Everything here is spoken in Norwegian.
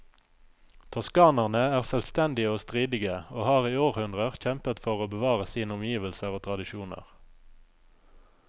Toskanerne er selvstendige og stridige, og har i århundrer kjempet for å bevare sine omgivelser og tradisjoner.